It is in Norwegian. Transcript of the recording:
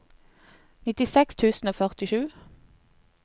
nittiseks tusen og førtisju